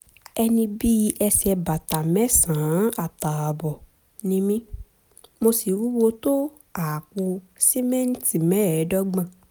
ẹni bí ẹsẹ̀ bàtà mẹ́sàn-án àtààbọ̀ ni mí mo sì wúwo tó àpò sìmẹ́ǹtì mẹ́ẹ̀ẹ́dọ́gbọ̀n